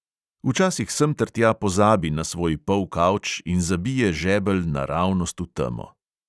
Včasih semtertja pozabi na svoj polkavč in zabije žebelj naravnost v temo.